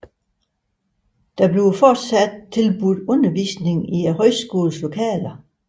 Der tilbydes fortsat undervisning i højskolens lokaler